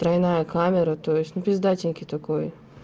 тройная камера то есть ну пиздатенький такой